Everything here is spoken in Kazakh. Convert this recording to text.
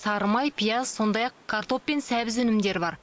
сары май пияз сондай ақ картоп пен сәбіз өнімдері бар